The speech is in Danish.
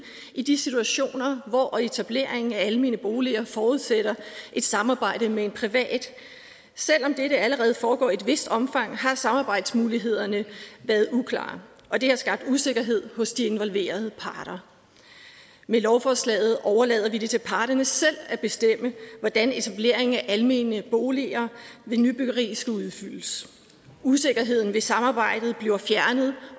i de situationer hvor etablering af almene boliger forudsætter et samarbejde med en privat selv om det allerede foregår i et vist omfang har samarbejdsmulighederne været uklare og det har skabt usikkerhed hos de involverede parter med lovforslaget overlader vi det til parterne selv at bestemme hvordan etableringen af almene boliger ved nybyggeri skal udbydes usikkerheden ved samarbejdet bliver fjernet